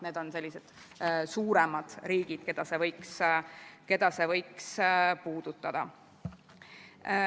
Need on suuremad riigid, keda see võiks puudutada.